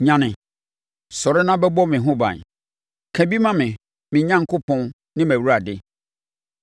Nyane, sɔre na bɛbɔ me ho ban! Ka bi ma me, me Onyankopɔn ne mʼAwurade.